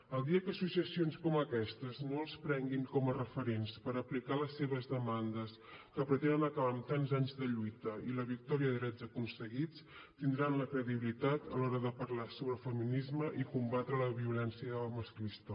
el dia que associacions com aquestes no els prenguin com a referents per aplicar les seves demandes que pretenen acabar amb tants anys de lluita i la victòria de drets aconseguits tindran la credibilitat a l’hora de parlar sobre feminisme i combatre la violència masclista